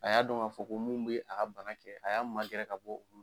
A y'a dɔn k'a fɔ ko min bɛ a ka bana kɛ a y'a ma gɛrɛ ka bɔ olu